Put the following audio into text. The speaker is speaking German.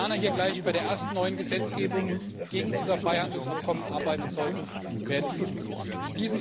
Wenn die Koreaner gleich bei der ersten neuen Gesetzgebung gegen unser Freihandelsabkommen arbeiten sollten, wäre das nicht zielführend.